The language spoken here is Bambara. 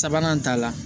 Sabanan ta la